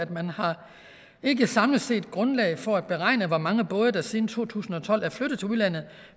at man ikke samlet set har grundlag for at beregne hvor mange både der siden to tusind og tolv er flyttet til udlandet